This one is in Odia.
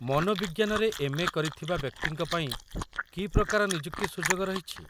ମନୋବିଜ୍ଞାନରେ ଏମ୍.ଏ. କରିଥିବା ବ୍ୟକ୍ତିଙ୍କ ପାଇଁ କି ପ୍ରକାର ନିଯୁକ୍ତି ସୁଯୋଗ ରହିଛି?